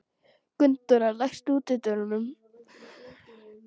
Gunndóra, læstu útidyrunum.